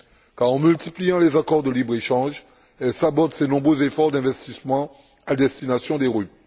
quand, en multipliant les accords de libre échange, elle sabote ses nombreux efforts d'investissement à destination des RUP.